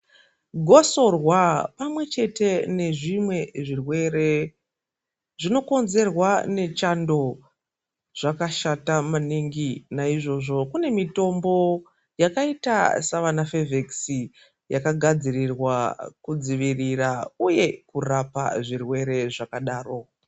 Gosorwa pamwe chete nezvimwe zvirwere zvinokonzerwa nechando zvakashata maningi naizvozvo kune mitombo yakaita savana fevhekisi yakagadzirirwa kudzivirira uye kurapa zvirwere zvakadaro.